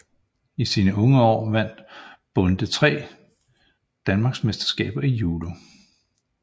I sine unge år vandt Bonde 3 Danmarksmesterskaber i judo